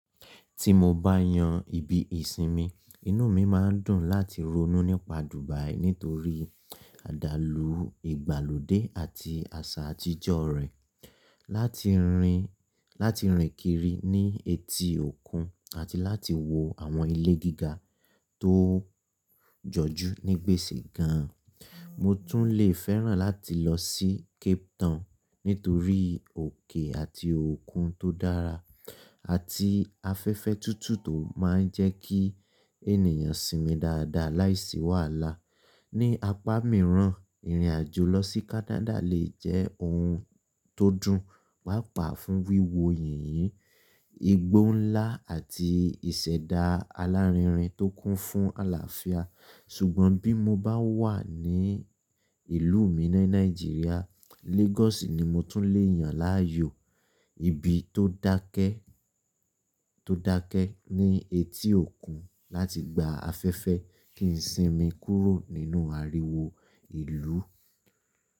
Ti mo bá yan ibi ìsinmi, inú mi máa ń dùn láti ronú nípa Dubai nítorí àdálù ìgbàlódé àti àṣà àtijọ́ rẹ̀, láti rìn kiri ní etí òkun àti láti wo àwọn ilé gíga tó jọjú ní gbèsè gan an. Mo tún lè fẹ́ràn láti lọ sí Cape Town nítorí òkè àti òkun tó dára àti afẹ́fẹ́ tútù tó máa ń jẹ́kí ènìyàn sinmi dáadáa láìsí wàhálà. Ni apá mìíràn, ìrìnàjò lọ sí Canada lè jẹ́ ohun tó dùn, pàápàá fún wíwo yìnyín, igbó ńlá àti ìṣẹ̀dá alárinrin tó kún fún àlàáfíà. Ṣùgbọ́n bí mo bá wà ní ìlú mi ní Nigeria, Lagos ni mo tún lè yàn láàyò, ibi tó dákẹ́, tó dákẹ́ ní etí òkun láti gba afẹ́fẹ́ kí n sinmi kúrò nínú ariwo ìlú.